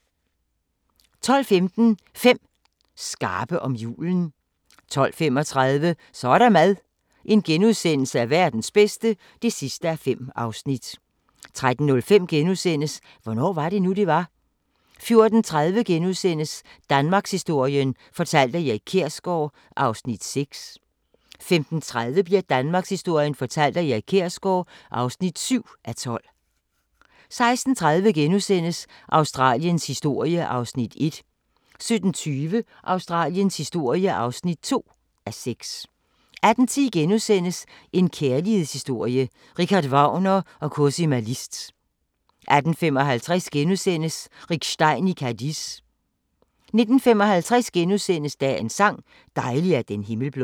12:15: 5 skarpe om julen 12:35: Så er der mad – Verdens bedste (5:5)* 13:05: Hvornår var det nu, det var? * 14:30: Danmarkshistorien fortalt af Erik Kjersgaard (6:12)* 15:30: Danmarkshistorien fortalt af Erik Kjersgaard (7:12) 16:30: Australiens historie (1:6)* 17:20: Australiens historie (2:6) 18:10: En kærlighedshistorie – Richard Wagner & Cosima Liszt * 18:55: Rick Stein i Cadiz * 19:55: Dagens sang: Dejlig er den himmel blå *